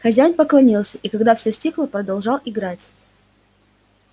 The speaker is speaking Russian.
хозяин поклонился и когда всё стихло продолжал играть